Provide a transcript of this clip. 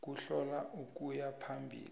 kuhlola ukuya phambili